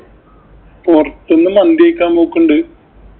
പൊറത്ത് നിന്ന് മന്തി കഴിക്കാന്‍ പോക്കോണ്ട്.